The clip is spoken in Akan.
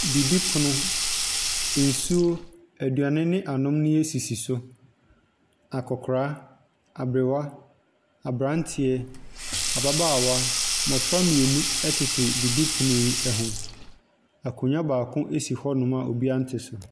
Didi pono, nsuo, eduane ne anomdeɛ sisi so. Akɔkora, abrewa, aberanteɛ, ababaawa, mbɔfra mienu ɛtete didi pono yi ɛho. Akonwa baako esi hɔ nom a obia nte so.